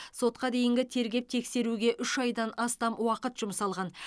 сотқа дейінгі тергеп тексеруге үш айдан астам уақыт жұмсалған